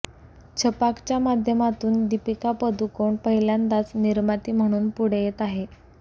छपाकच्या माध्यमातून दीपिका पदुकोण पहिल्यांदाच निर्माती म्हणून पुढे येत आहे